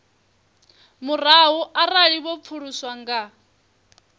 murahu arali vho pfuluswa nga